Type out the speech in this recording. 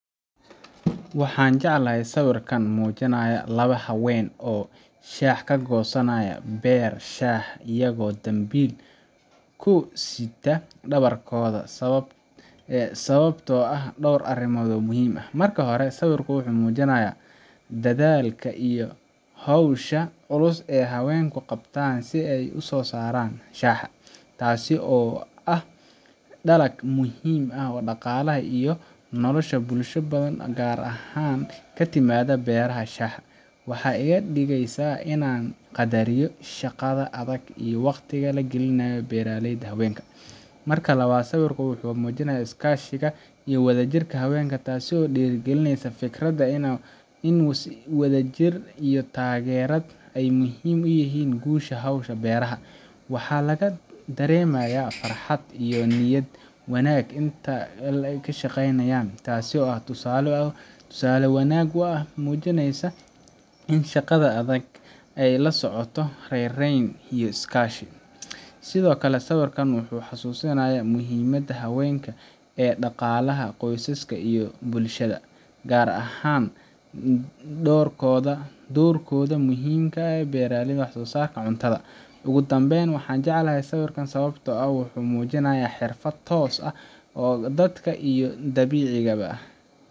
Waxaan jeclahay sawirkan muujinaya laba haween oo shaaha ka goosanaya beer shaaha iyagoo dambiil ku sita dhabarkooda sababtoo ah dhowr arrimood oo muhiim ah: Marka hore, sawirku wuxuu muujinayaa dadaalka iyo hawsha culus ee haweenku qabtaan si ay u soo saaraan shaaha, taas oo ah dalag muhiim u ah dhaqaalaha iyo nolosha bulsho badan oo gaar ahaan ka timaadda beeraha shaaha. Waxay iga dhigaysaa inaan qaddariyo shaqada adag iyo waqtiga ay gelinayaano beeraleyda haweenka . Marka labaad, sawirku wuxuu muujinayaa iskaashiga iyo wadajirka haweenka, taas oo dhiirrigelinaysa fikradda ah in wadajirka iyo taageerada ay muhiim u yihiin guusha hawsha beeraha. Waxaa laga dareemayaa farxad iyo niyad wanaag inta ay shaqaynayaan, taas oo ah tusaale wanaagan oo muujinaya in shaqada adag ay la socoto raynrayn iyo iskaashi. Sidoo kale, sawirkan wuxuu xusuusinayaa muhiimadda haweenka ee dhaqaalaha qoysaska iyo bulshada, gaar ahaan doorkooda muhiimka ah ee beeraha iyo wax-soo-saarka cuntada. Ugu dambeyntii, waxaan jeclahay sawirkan sababtoo ah wuxuu muujinayaa xirfad toos ah ee dadka iyo dabiiciga